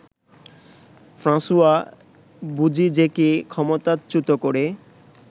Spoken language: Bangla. ফ্রাঁসোয়া বোজিজেকে ক্ষমতাচ্যুত করে